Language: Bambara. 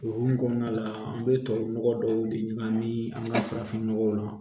O hukumu kɔnɔna la an bɛ tubabu nɔgɔ dɔw de ɲagami an ka farafin nɔgɔw la